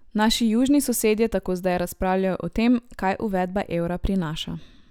Naši južni sosedje tako zdaj razpravljajo o tem, kaj uvedba evra prinaša.